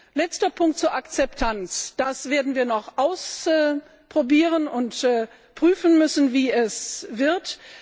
Als letzter Punkt die Akzeptanz Das werden wir noch ausprobieren und prüfen müssen, wie es wird.